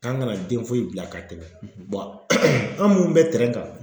K'an kana den foyi bila ka tɛmɛ an minnu bɛ tɛrɛn kan